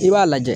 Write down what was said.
I b'a lajɛ